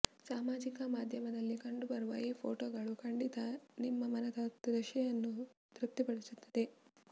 ಸಾಮಾಜಿಕ ಮಾಧ್ಯಮದಲ್ಲಿ ಕಂಡುಬರುವ ಈ ಫೋಟೋಗಳು ಖಂಡಿತ ನಿಮ್ಮ ಮನದ ತೃಷೆಯನ್ನು ತೃಪ್ತಿಪಡಿಸುತ್ತದೆ